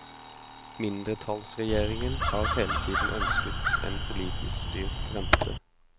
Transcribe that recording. Mindretallsregjeringen har hele tiden ønsket en politisk styrt rente.